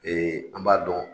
Ee an b'a dɔn.